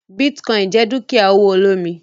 Bitcoin jẹ dukia owo olomi.